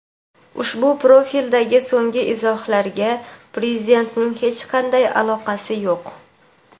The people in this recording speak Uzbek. ushbu profildagi so‘nggi izohlarga Prezidentning hech qanday aloqasi yo‘q.